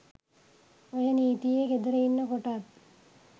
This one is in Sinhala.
ඔය නීතියේ ගෙදර ඉන්න කොටත්